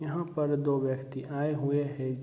यहां पर दो व्यक्ति आए हुए हैं।